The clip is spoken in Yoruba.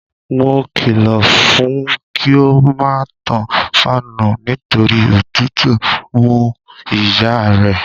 Mo kìlọ̀ fún un kí ó má tan fáànù nítorí òtùtù mú ìyá rẹ̀.